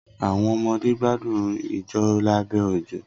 Awọn ọmọde gbadun ijó labẹ ojo